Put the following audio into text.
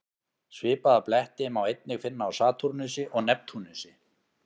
Svipaða bletti má einnig finna á Satúrnusi og Neptúnusi.